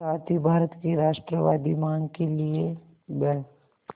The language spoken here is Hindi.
साथ ही भारत की राष्ट्रवादी मांग के लिए ब्